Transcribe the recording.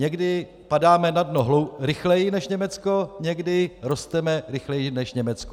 Někdy padáme na dno rychleji než Německo, někdy rosteme rychleji než Německo.